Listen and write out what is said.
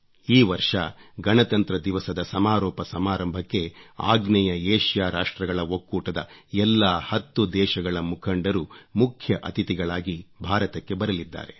ಈ ವರ್ಷ ಗಣತಂತ್ರ ದಿವಸದ ಸಮಾರೋಪ ಸಮಾರಂಭಕ್ಕೆ ಆಗ್ನೇಯ ಏಷ್ಯಾ ರಾಷ್ಟ್ರಗಳ ಒಕ್ಕೂಟದ ಎಲ್ಲಾ ಹತ್ತು ದೇಶಗಳ ಮುಖಂಡರು ಮುಖ್ಯ ಅತಿಥಿಗಳಾಗಿ ಭಾರತಕ್ಕೆ ಬರಲಿದ್ದಾರೆ